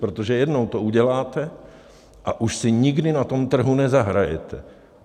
Protože jednou to uděláte a už si nikdy na tom trhu nezahrajete.